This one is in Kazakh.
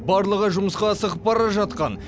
барлығы жұмысқа асығып бара жатқан